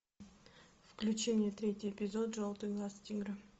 включи мне третий эпизод желтый глаз тигра